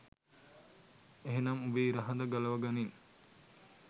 එහෙනම් උඹේ ඉර හඳ ගලව ගනින්